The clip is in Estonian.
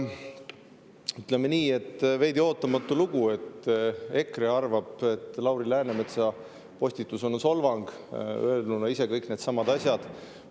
Ütleme nii, et veidi ootamatu lugu, et EKRE arvab, et Lauri Läänemetsa postitus on solvang, olles ise öelnud kõik need asjad.